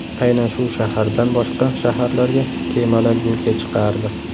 Aynan shu shahardan boshqa shaharlarga kemalar yo‘lga chiqardi.